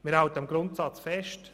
Wir halten am Grundsatz fest: